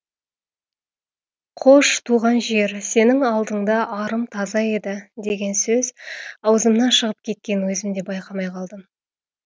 қош туған жер сенің алдыңда арым таза еді деген сөз аузымнан шығып кеткенін өзім де байқамай қалдым